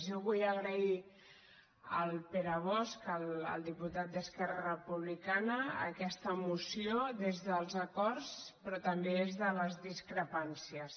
jo vull agrair al pere bosch al diputat d’esquerra re·publicana aquesta moció des dels acords però també des de les discrepàncies